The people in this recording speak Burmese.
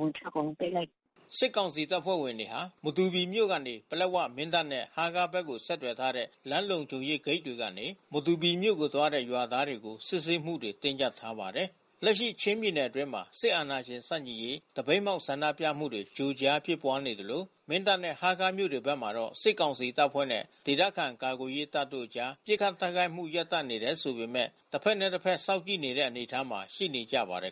ဝင်အထွက် အကုန်လုံးပိတ်လိုက်တယ်။” စစ်ကောင်စီတပ်ဖွဲ့ဝင်တွေဟာ မတူပီမြို့မှ ပလက်ဝ၊ မင်းတပ် နဲ့ဟားခါးဘက်ကို ဆက်သွယ်ထားတဲ့ လမ်းလုံခြုံ ရေးဂိတ်တွေကနေ မတူပီမြို့ကို သွားတဲ့ ရွာသားတွေကို စစ်ဆေးမှုတွေ တင်းကြပ်ထားပါတယ်။ လက်ရှိချင်းပြည်နယ်အတွင်းမှာ စစ်အာဏာရှင်ဆန့်ကျင်ရေး သပိတ်မှောက်ဆန္ဒပြမှုတွေ ကြိုကြားဖြစ်ပွါးနေသလို မင်းတပ်နဲ့ ဟားခါးမြို့ဘက်မှာတော့ စစ်ကောင်စီတပ်ဖွဲ့နဲ့ ဒေသခံကာကွယ်ရေးတပ်တို့အကြား ပစ်ခတ်တိုက်ခိုက်မှု ရပ်တန့်နေတယ်ဆိုပေမဲ့ တဖက်နဲ့တဖက်စောင့်ကြည့်နေတဲ့ အနေအထားမှာ ရှိနေကြပါတယ်